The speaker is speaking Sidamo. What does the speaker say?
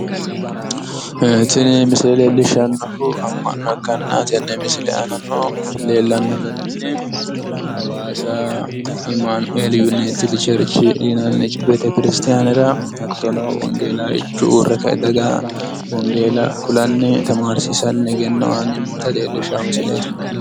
Tini misile leellishshannohu amma'no ikkanna tenne misile aanano leellanno garinni hawaasa imaanueli yunayiitidi chercheri yinanni betekirstaanera hattono wongeellaawichu uurre ka"e daga wongeella kulanni egenno aanni noota leellishawo misileeti.